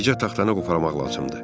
Bircə taxtanı qoparmaq lazımdır.